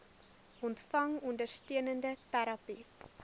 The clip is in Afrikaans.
ontvang ondersteunende terapie